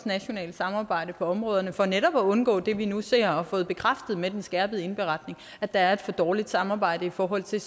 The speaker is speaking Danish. nationalt samarbejde på områderne for netop at undgå det vi nu ser og har fået bekræftet med den skærpede indberetning at der er et for dårligt samarbejde i forhold til